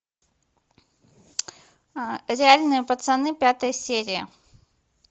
реальные пацаны пятая серия